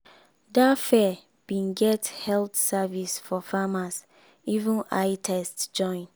that fair been get health service for farmers even eye test join